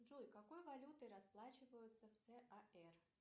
джой какой валютой расплачиваются в цар